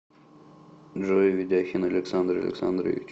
джой ведяхин александр александрович